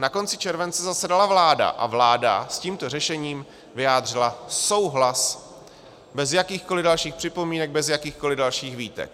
Na konci července zasedala vláda a vláda s tímto řešením vyjádřila souhlas bez jakýchkoliv dalších připomínek, bez jakýchkoliv dalších výtek.